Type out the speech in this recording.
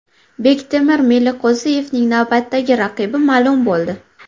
Bektemir Meliqo‘ziyevning navbatdagi raqibi ma’lum bo‘ldi.